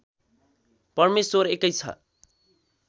परमेश्वर एकै छ